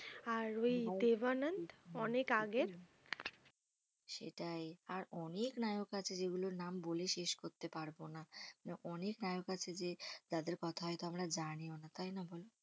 আর ওই দেবানন অনেক আগের সেটাই আর অনেক নায়ক আছে যেগুলোর নাম বলে শেষ করতে পারব না। অনেক নায়ক আছে যে তাদের কথাই তো আমরা জানিও না তাই না বলো।